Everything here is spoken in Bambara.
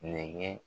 Nɛgɛn